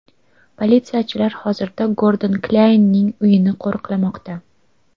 Politsiyachilar hozirda Gordon Klyaynning uyini qo‘riqlamoqda.